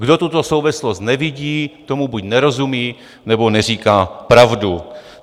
Kdo tuto souvislost nevidí, tomu buď nerozumí, nebo neříká pravdu.